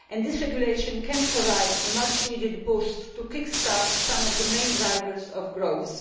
This regulation can provide a much needed boost to kick start some of the main drivers of growth.